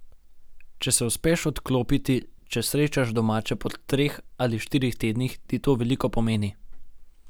Če se uspeš odklopiti, če srečaš domače po treh ali štirih tednih, ti to veliko pomeni.